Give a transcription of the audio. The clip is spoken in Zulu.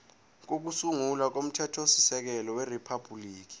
kokusungula komthethosisekelo weriphabhuliki